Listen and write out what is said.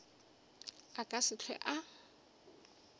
a ka se hlwe a